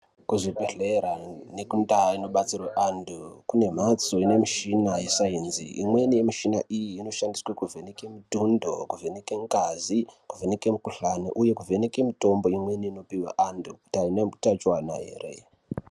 Kuzvibhedhlera nekundaa inobetserwa anthu kune mhatso ine mishina yeSainzi imweni yemishina iyi inoshandiswe kuvheneke mitundo, kuvheneke ngazi, kuvheneke mikuhlani uye kuvheneke mutombo imweni inopuwe vanthu kuti aina utachiona here.